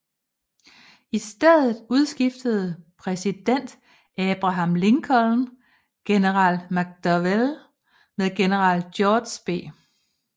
I stedet udskiftede præsident Abraham Lincoln general McDowell med general George B